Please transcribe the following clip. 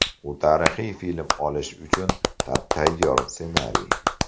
U tarixiy film olish uchun tap-tayyor ssenariy.